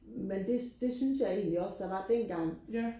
men det det synes jeg egentlig også der var dengang